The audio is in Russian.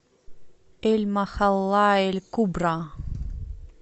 эль махалла эль кубра